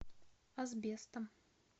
асбестом